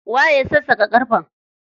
Waye ya sassaƙa ƙarfen?